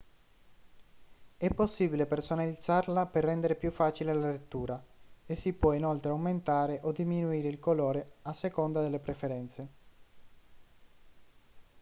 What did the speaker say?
è possibile personalizzarla per rendere più facile la lettura e si può inoltre aumentare o diminuire il colore a seconda delle preferenze